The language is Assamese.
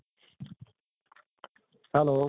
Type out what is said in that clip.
hello